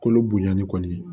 Kolo bonyani kɔni